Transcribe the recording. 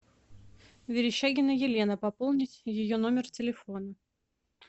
верещагина елена пополнить ее номер телефона